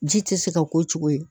Ji tɛ se ka k'o cogo ye